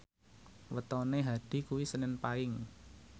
wetone Hadi kuwi senen Paing